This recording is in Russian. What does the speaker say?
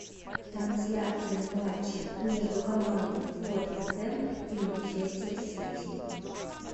трансляция матча между командами тоттенхэм и манчестер сити